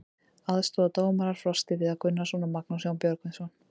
Aðstoðardómarar: Frosti Viðar Gunnarsson og Magnús Jón Björgvinsson.